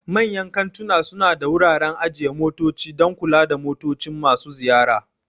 Manyan kantuna suna da wuraren ajiye motoci don kula da motocin masu ziyara.